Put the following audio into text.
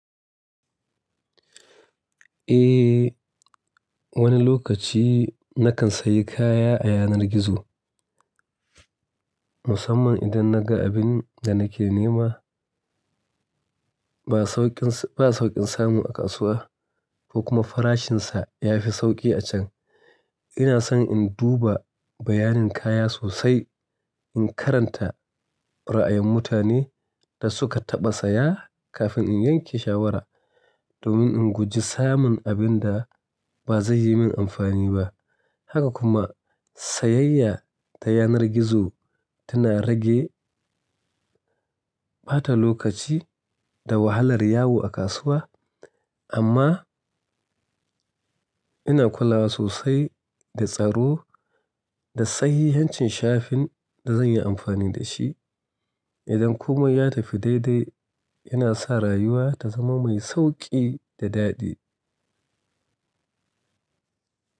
Eh, wani lokaci na kan sayi kaya a yanar gizo, musamman idan na ga abin da nake nema ba sauƙin samu a kasuwa ko kuma farashinsa ya fi sauƙi a can. Ina son in duba bayanin kaya sosai, in karanta ra'ayin mutanen da suka taɓa saya kafin in yanke shawara, domin in guji samun abin da ba zai yi min amfani ba. Haka kuma, sayayya ta yanar gizo tana rage ɓata lokaci da wahalar yawo a kasuwa. Amma ina kula sosai da tsaro da sayi hancin shafin da zan yi amfani da shi. Idan kuma ya tafi daidai, yana san rayuwa ta zama mai sauƙi da daɗi.